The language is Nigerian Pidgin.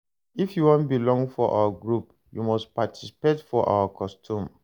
If you wan belong for our group, you must participate for our custom.